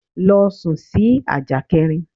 Lọ sún sì ajá kẹrin!